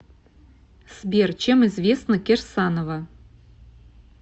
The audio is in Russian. сбер чем известна кирсанова